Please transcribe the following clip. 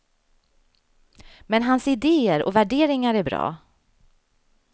Men hans idéer och värderingar är bra.